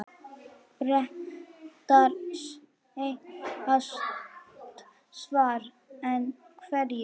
Bretar segjast svara, en hverju?